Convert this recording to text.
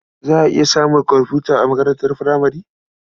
Za a iya samun komfuta a makarantar furamare.